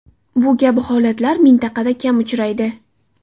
Bu kabi holatlar mintaqada kam uchraydi.